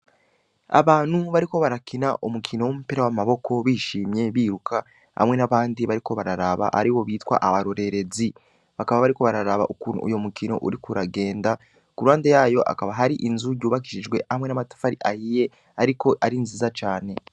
Abantu bariko barakina umukino w'umupira w'amaboko bishimye biruka hamwe n'abandi bariko bararaba aribo bitwa abarorerezi bakaba bariko bararaba ukuntu uwo mukino uriko uragenda ku ruhande yayo hakaba hari inzu yubakishijwe hamwe n'amatafari ahiye ariko nziza cane.